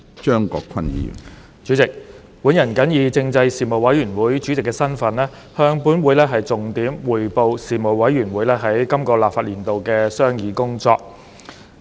主席，本人謹以政制事務委員會主席的身份，向本會重點匯報事務委員會在本立法年度的商議工作。